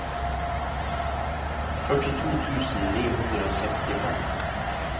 førtito tusen ni hundre og sekstifem